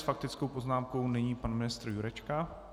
S faktickou poznámkou nyní pan ministr Jurečka.